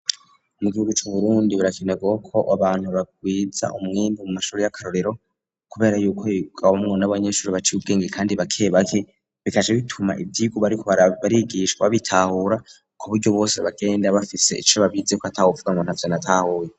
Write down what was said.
mu gihugu co mu burundi barakenerwaho ko abantu bagwiza umwimbu mu mashuri y'akarorero kubera yuko higamwo n,abanyeshuri baciye ubwenge kandi bake bake bikaja bituma ivyigwa bariko barigishwa bitahura ku buryo bose bagenda bafise ico baba bize ko atakuvuga ngo ntaco batahuye